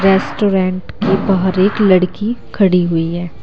Restaurant के बाहर एक लड़की खड़ी है।